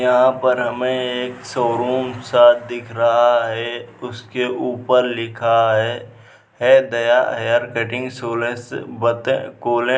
यहाँ पर हमें एक शोरूम सा दिख रहा है। उसके ऊपर लिखा है है दया हेयर कटिंग सोलर